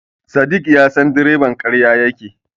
Sadik ya san direban ƙarya yake yi.